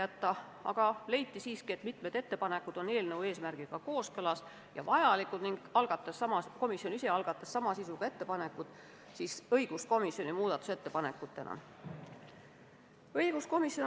Kuna aga leiti, et mitmed ettepanekud on eelnõu eesmärgiga kooskõlas ja vajalikud, tegi õiguskomisjon ise sama sisuga muudatusettepanekud.